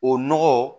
O nɔgɔ